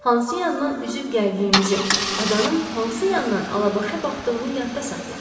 Hansı yandan üzüb gəldiyimizi, adanın hansı yandan alabaşa baxdığını yadda saxla.